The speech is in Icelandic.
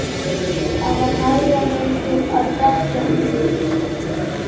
Það var hægðarleikur að trekkja úrið.